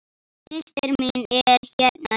Systir mín er hérna líka.